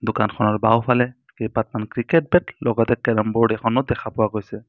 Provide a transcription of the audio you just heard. দোকানখনৰ বাওঁফালে কেইবাখন ক্ৰিকেট বেট লগতে কেৰেম বোৰ্ড এখনো দেখা পোৱা গৈছে।